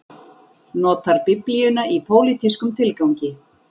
Notar biblíuna í pólitískum tilgangi